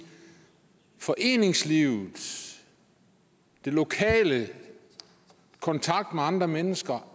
foreningslivet den lokale kontakt med andre mennesker